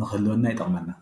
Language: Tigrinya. ንክህልወና ይጠቕመና፡፡